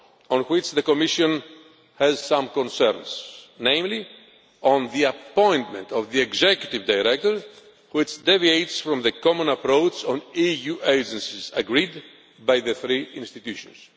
on which the Commission has some concerns, namely the provision for appointment of the executive director, which deviates from the common approach on EU agencies agreed by the three institutions.